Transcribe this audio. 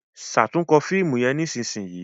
ṣatunkọ fíìmù yén nísìsiyìí!